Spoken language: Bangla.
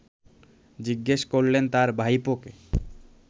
জিজ্ঞেস করলেন তার ভাইপোকে